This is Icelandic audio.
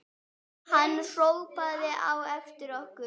Hann hrópaði á eftir okkur.